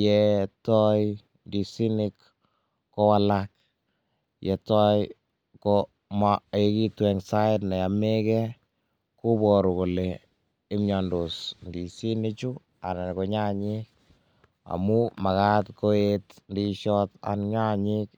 yetoi ndisinik kowalak, yetoi kom maekitu enn sait ne omeke, koboru kole mnyondos ndisinik anan ko nyanyek amun makat koet ndisiot ak nyayek.